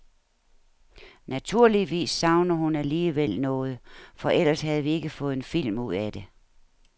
Naturligvis savner hun alligevel noget, for ellers havde vi ikke fået en film ud af det.